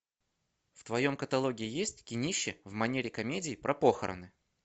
в твоем каталоге есть кинище в манере комедии про похороны